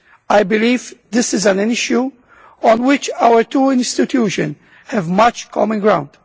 I believe this is an issue on which our two institutions have much common ground.